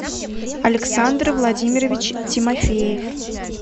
александр владимирович тимофеев